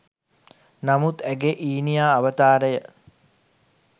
නමුත් ඇගේ ඊනියා අවතාරය